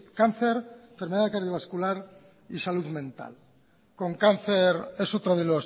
cáncer enfermedad cardiovascular y salud mental con cáncer es otro de